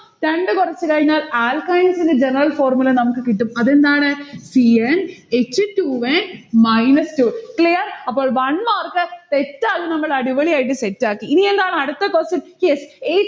രണ്ടു കൊർച് കഴിഞ്ഞാൽ alkynes ന്റെ general formula നമ്മക്ക് കിട്ടും. അതെന്താണ്. c n h two n minus two. clear അപ്പോൾ one mark set ആയി നമ്മൾ അടിപൊളിയായിട്ട് set ആക്കി. ഇനിയെന്താണ് അടുത്ത question. yes